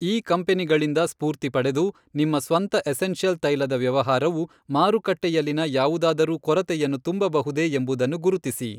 ಈ ಕಂಪನಿಗಳಿಂದ ಸ್ಫೂರ್ತಿ ಪಡೆದು ನಿಮ್ಮ ಸ್ವಂತ ಎಸೆನ್ಷಿಯಲ್ ತೈಲದ ವ್ಯವಹಾರವು ಮಾರುಕಟ್ಟೆಯಲ್ಲಿನ ಯಾವುದಾದರೂ ಕೊರತೆಯನ್ನು ತುಂಬಬಹುದೇ ಎಂಬುದನ್ನು ಗುರುತಿಸಿ.